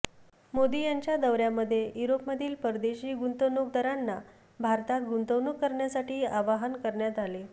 मोदी यांच्या दौर्यामध्ये युरोपमधील परदेशी गुंतवणूकदारांना भारतात गुंतवणूक करण्यासाठी आवाहन करण्यात आले